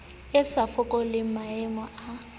e a fokola maano a